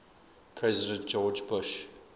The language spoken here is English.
president george bush